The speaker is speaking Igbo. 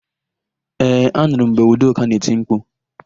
Ee, anụrụ m mgbe Udoka na-eti mkpu.